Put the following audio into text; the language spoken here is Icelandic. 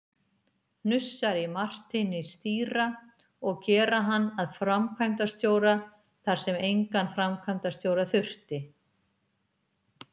hnussar í Marteini stýra, og gera hann að framkvæmdastjóra þar sem engan framkvæmdastjóra þurfti.